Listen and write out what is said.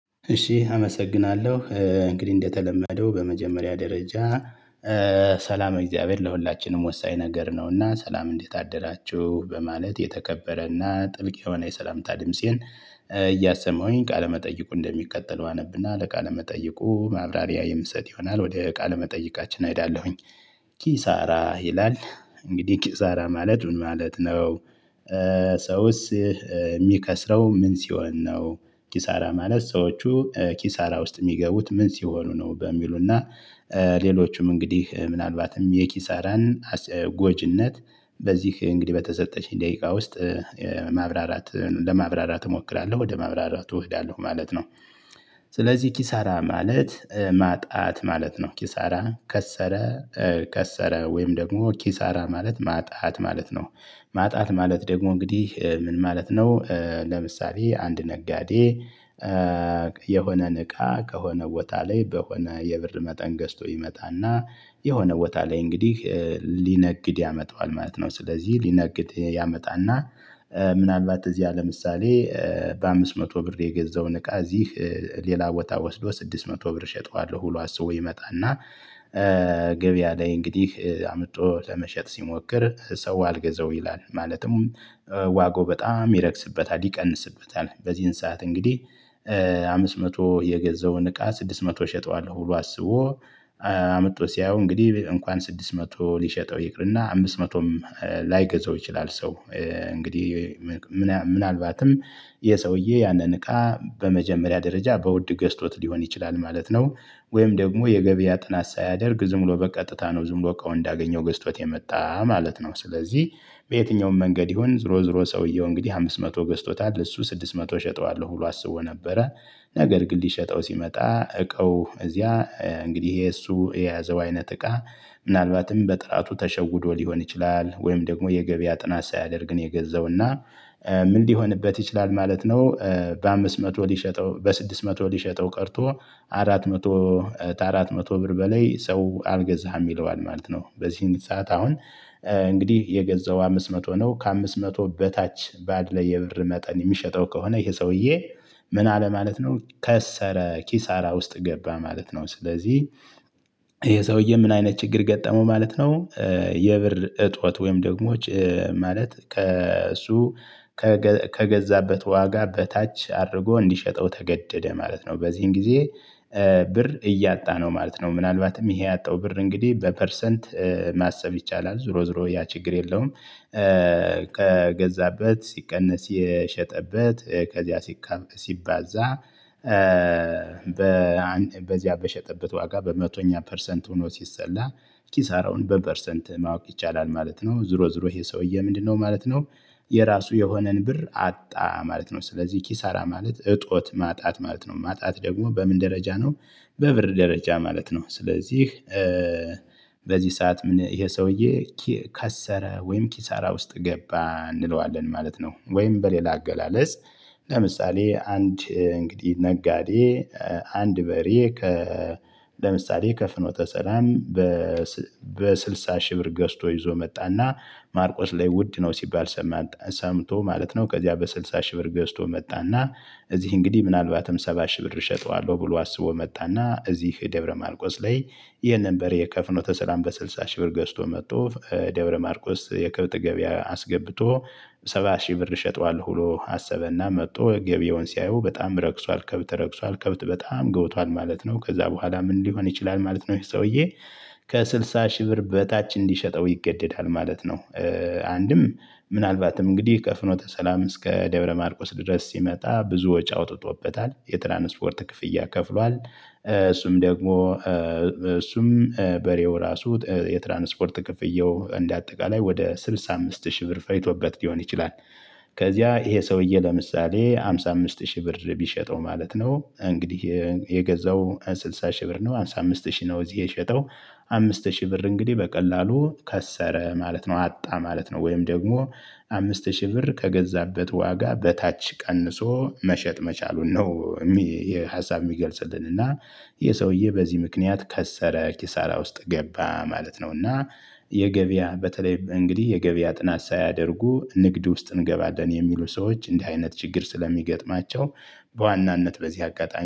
እሺ አመሰግናለሁ እንግዲህ እንደተለመደው በመጀመሪያ ደረጃ ሰላመ እግዚአብሔር ለሁላችንም ወሳኝ ነገር ነውና ሰላም እንዴት አደራችሁ በማለት የተቀበረና ጥልቅ የሆነ የሰላምታ ድምፄን እያሰማውኝ ቃለመጠይቁ እንደሚቀተለው አነብና ለቃለመጠይቁ ማብራሪያ የምሰጥ ይሆናል ወደ ቃል መጠይቃችን አይዳለሁኝ። ኪሳራ ይላል እንግዲህ ኪሳራ ማለት ማለት ነው። ሰውስ የሚከስረው ምን ሲሆን ነው? ኪሳራ ማለት ሰዎቹ ኪሳራ ውስጥ የሚገቡት ምን ሲሆኑ ነው በሚሉና? ሌሎቹም እንግዲህ ምናልባትም የኪሳራን ጎጅነት በዚህ እንግዲህ በተሰጠሽኝ ደቂቃ ውስጥ ማብራራት ለማብራራት እሞክራለሁ ወደ ማብራራት እህዳለሁ ማለት ነው። ስለዚህ ኪሳራ ማለት ማጣት ማለት ነው። ኪሳራ ከሰረ ከሰረ ወይም ደግሞ ኪሳራ ማለት ማጣት ማለት ነው። ማጣት ማለት ደግሞ እንግዲህ ምን ማለት ነው? ለምሳሌ አንድ ነጋዴ የሆነን እቃ ከሆነ ቦታ ላይ በሆነ የብር መጠን ገዝቶ ይመጣና የሆነ ቦታ ላይ እንግዲህ ሊነግድ ያመጣዋል ማለት ነው። ስለዚህ ሊነግድ ያመጣና ምናልባት እዚያ ለምሳሌ በአምስት መቶ ብር የገዛውን እቃ እዚህ ሌላ ቦታ ወስዶ ስድስት መቶ ብር እሸጠዋለሁ ብሎ አስቦ ይመጣና። ገበያ ላይ እንግዲህ አምጦ ለመሸጥ ሲሞክር ሰው አልገዛው ይላል ማለትም። ዋጋው በጣም ይረክስበታል ይቀንስበታል በዚህን ሰዓት እንግዲህ አምስት መቶ የገዛውን እቃ ስድስት መቶ እሸጠዋለሁ ሁሉ አስቦ። አመጡ ሲያዩ እንግዲህ እንኳን ስድስት መቶ ሊሸጠው ይቅርና አምስት መቶም ላይገዛው ይችላል። ሰው እንግዲህ ምናልባትም ይኸ ሰውዬ ያንን እቃ በመጀመሪያ ደረጃ በውድ ገዝቶት ሊሆን ይችላል ማለት ነው። ወይም ደግሞ የገበያ ጥናት ሳያደርግ ዝም ብሎ በቀጥታ ነው ዝም ብሎ እንዳገኘው ገዝቶት የመጣ ማለት ነው። ስለዚህ በየትኛውም መንገድ ይሁን ዞሮ ዞሮ ሰውየው እንግዲህ አምስት መቶ ገዝቶታል እሱ ስድስት መቶ እሸጠዋለሁ ብሎ አስቦ ነበረ። ነገር ግን ሊሸጠው ሲመጣ እቃው እዚያ እንግዲህ ይሄ እሱ የያዘው አይነት እቃ። ምናልባትም በጥራቱ ተሸውዶ ሊሆን ይችላል ወይም ደግሞ የገበያ ጥናት ሳያደርግ ነው የገዛው እና ምን ሊሆንበት ይችላል ማለት ነው? በአምስት መቶ ሊሸጠው በስድስት መቶ ሊሸጠው ቀርቶ አራት መቶ ተአራት መቶ ብር በላይ ሰው አልገዛህም ይለዋል ማለት ነው። በዚህን ሰዓት አሁን እንግዲህ የገዛው አምስት መቶ ነው ከአምስት መቶ በታች ባለ የብር መጠን የሚሸጠው ከሆነ ይሄ ሰውዬ። ምን አለ ማለት ነው? ከሰረ ኪሳራ ውስጥ ገባ ማለት ነው። ስለዚህ የሰውዬ ምን አይነት ችግር ገጠመው ማለት ነው። የብር እጦት ወይም ደግሞ ማለት ከእሱ ከገዛበት ዋጋ በታች አድርጎ እንዲሸጠው ተገደደ ማለት ነው። በዚህም ጊዜ ብር እያጣ ነው ማለት ነው። ምናልባትም ይሄ ያጣው ብር እንግዲህ በፐርሰንት ማሰብ ይቻላል ዝሮ ዝሮ ያ ችግር የለውም። ከገዛበት ሲቀነስ የሸጠበት ከዚያ ሲባዛ በዚያ በሸጠበት ዋጋ በመቶኛ ፐርሰንት ሆኖ ሲሰላ ኪሳራውን በፐርሰንት ማወቅ ይቻላል። ማለት ነው ዝሮ ዝሮ ይሄ ሰውዬ ምንድነው ማለት ነው? የራሱ የሆነን ብር አጣ ማለት ነው። ስለዚህ ኪሳራ ማለት እጦት ማጣት ማለት ነው። ማጣት ደግሞ በምን ደረጃ ነው? በብር ደረጃ ማለት ነው። ስለዚህ በዚህ ሰዓት ምን ይሄ ሰውዬ ከሰረ ወይም ኪሳራ ውስጥ ገባ እንለዋለን ማለት ነው። ወይም በሌላ አገላለጽ። ለምሳሌ አንድ እንግዲህ ነጋዴ። አንድ በሬ ከ ለምሳሌ ከፍኖ ተሰላም። በስልሳ ሺህ ብር ገዝቶ ይዞ መጣና ማርቆስ ላይ ውድ ነው ሲባል ሰምቶ ማለት ነው። ከዚያ በስልሳ ሺህ ብር ገዝቶ መጣና እዚህ እንግዲህ ምናልባትም ሰባ ሺህ ብር እሸጠዋለሁ ብሎ አስቦ መጣና እዚህ ደብረማርቆስ ላይ። ይሄንን በሬ የከፍኖተ ተሰላም በስድሳ ሺህ ብር ገዝቶ መጥቶ ደብረ ማርቆስ የከብት ገበያ አስገብቶ። ሰባ ሺህ ብር እሸጠዋለሁ ብሎ አሰበና መጥቶ ገበያውን ሲያየው በጣም ረክሷል ከብት ረክሷል ከብት በጣም ገብቷል ማለት ነው። ከዛ በኋላ ምን ሊሆን ይችላል ማለት ነው? ይሄ ሰውዬ ከስድሳ ሺህ ብር በታች እንዲሸጠው ይገደዳል ማለት ነው። አንድም ምናልባትም እንግዲህ ከፍኖተ ሰላም እስከ ደብረ ማርቆስ ድረስ ሲመጣ ብዙ ወጪ አውጥቶበታል የትራንስፖርት ክፍያ ከፍሏል። እሱም ደግሞ እሱም በሬው ራሱ የትራንስፖርት ክፍያው እንደ አጠቃላይ ወደ ስድሳ አምስት ሺህ ብር ፈጅቶበት ሊሆን ይችላል። ከዚያ ይሄ ሰውዬ ለምሳሌ አምሳ አምስት ሺህ ብር ቢሸጠው ማለት ነው። እንግዲህ የገዛው ስድሳ ሺህ ብር ነው አምሳ አምስት ሺህ ነው እዚህ የሸጠው። አምስት ሺህ ብር እንግዲህ በቀላሉ ከሰረ ማለት ነው። አጣ ማለት ነው። ወይም ደግሞ አምስት ሺህ ብር ከገዛበት ዋጋ በታች ቀንሶ መሸጥ መቻሉን ነው። የሚ ይህ ሀሳብ የሚገልጽልን እና ይህ ሰውዬ በዚህ ምክንያት ከሰረ ኪሳራ ውስጥ ገባ ማለት ነው። እና የገበያ በተለይ እንግዲህ የገበያ ጥናት ሳያደርጉ ንግድ ውስጥ እንገባለን የሚሉ ሰዎች እንዲህ አይነት ችግር ስለሚገጥማቸው በዋናነት በዚህ አጋጣሚ